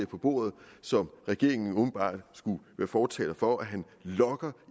på bordet som regeringen åbenbart skulle være fortaler for og han lokker